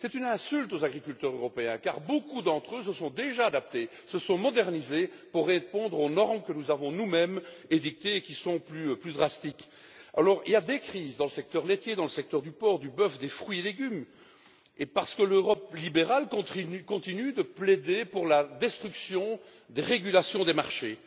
C'est une insulte aux agriculteurs européens car beaucoup d'entre eux se sont déjà adaptés et modernisés pour répondre aux normes que nous avons, nous mêmes, édictées et qui sont plus drastiques. Alors, il y a des crises dans le secteur laitier, dans les secteurs du porc, du bœuf et des fruits et légumes et parce que l'Europe libérale continue de plaider pour la destruction de la régulation des marchés.